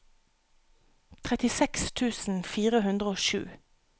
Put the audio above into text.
trettiseks tusen fire hundre og sju